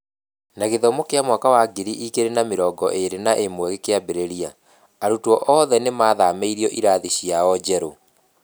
Na gĩthomo kĩa mwaka wa ngiri igĩrĩ na mĩrongo ĩrĩ na ĩmwe gĩkĩambĩrĩria, arutwo othe nĩ maathamĩirio ĩrathiĩ-inĩ ciao njerũ